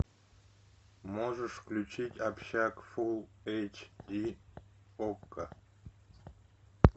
можешь включить общак фул эйч ди окко